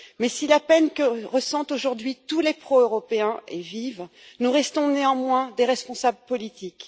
Mais si la peine que ressentent aujourd'hui tous les pro européens est vive, nous restons néanmoins des responsables politiques.